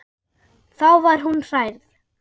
Þá var hún hrærð.